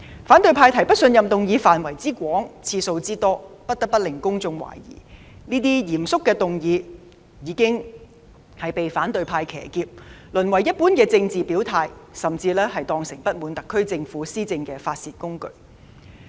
反對派提出的不信任議案範圍之廣、次數之多，不得不令公眾懷疑這類嚴肅的議案已被反對派騎劫，淪為一般的政治表態，甚至被當成不滿特區政府施政的發泄工具。